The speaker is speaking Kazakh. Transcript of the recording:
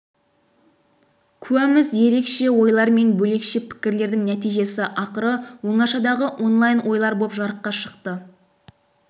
да куәміз ерекше ойлар мен бөлекше пікірлердің нәтижесі ақыры оңашадағы онлайн ойлар боп жарыққа шықты